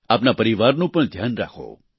આપના પરિવારનું પણ ધ્યાન રાખો